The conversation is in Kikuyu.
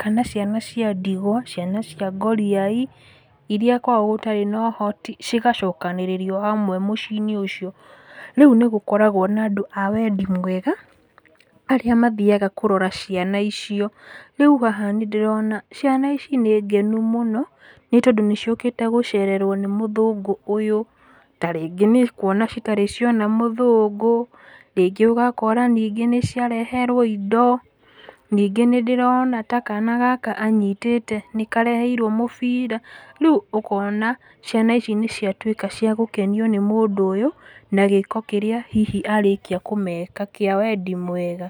kana ciana cia ndigwa, ciana cia ngoriai, iria kwao gũtarĩ na ũhoti, cigacokanĩrĩrio hamwe mũci-inĩ ũcio. Rĩu nĩgũkoragwo na andũ a wendi mwega, aría mathiaga kũrora ciana icio, rĩu haha nĩndĩrona ciana ici nĩngenu múno nĩtondũ nĩciũkĩte gũcererwo nĩ mũthũngũ ũyũ, ta rĩngĩ nĩ kuona citarĩ ciona mũthũngũ. Rĩngĩ ũgakora ningĩ nĩciareherwo indo, ningĩ nĩndĩrona ta kana gaka anyitĩte nĩkareheirwo mũbira rĩu ũkona ciana ici nĩciatwĩka cia gũkenio nĩ mũndũ ũyũ na gĩĩko kĩrĩa hihi arĩkia kũmeka kĩa wendi mwega.